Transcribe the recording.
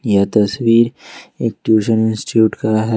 यह तस्वीर एक ट्यूशन इंस्टिट्यूट का है।